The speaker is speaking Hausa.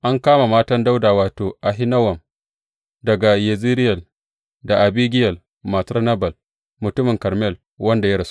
An kama matan Dawuda, wato, Ahinowam daga Yezireyel da Abigiyel matar Nabal mutumin Karmel wanda ya rasu.